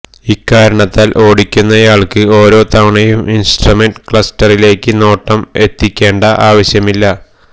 ഇക്കാരണത്താല് ഓടിക്കുന്നയാള്ക്ക് ഓരോ തവണയും ഇന്സ്ട്രമെന്റ് ക്ലസ്റ്ററിലേക്ക് നോട്ടം എത്തിക്കേണ്ട ആവശ്യമില്ല